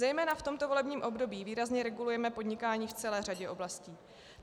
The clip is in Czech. Zejména v tomto volebním období výrazně regulujeme podnikání v celé řadě oblastí.